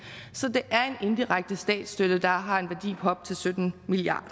så det er en indirekte statsstøtte der har en værdi på op til syttende milliard